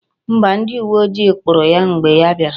Mba, ndi uwe ojii kpuru ya mgbe ha biara